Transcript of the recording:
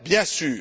bien sûr.